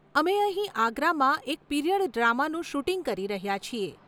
અમે અહીં આગ્રામાં એક પીરિયડ ડ્રામાનું શૂટિંગ કરી રહ્યા છીએ.